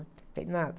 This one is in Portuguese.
Não tem nada.